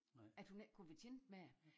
At hun ikke kunne være tjent med det